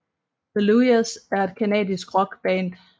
The Luyas er et canadisk rockband